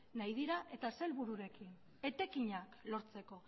nahi dira eta zer helbururekin etekinak lortzeko